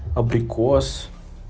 абрикос